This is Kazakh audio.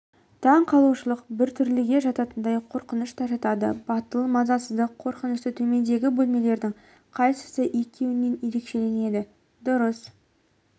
таң қалушылық біртүрліге жататындай қорқыныш та жатады батыл мазасыздық қорқынышты төмендегі бөлімдердің қайсысы екеуінен ерекшеленеді дұрыс